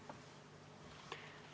Aitäh!